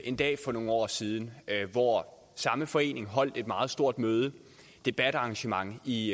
en dag for nogle år siden hvor samme forening holdt et meget stort møde et debatarrangement i